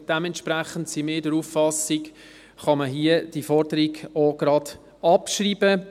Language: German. Dementsprechend sind wir der Auffassung, man könne die Forderung hier gleich abschreiben.